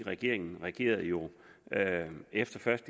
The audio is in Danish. regeringen reagerede jo efter først